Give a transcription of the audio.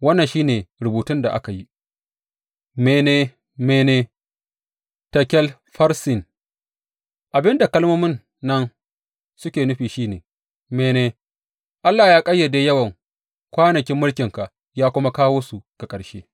Wannan shi ne rubutun da aka yi, Mene, mene, tekel, farsin Abin da kalmomin nan suke nufi shi ne, Mene, Allah ya ƙayyade yawan kwanakin mulkinka ya kuma kawo su ga ƙarshe.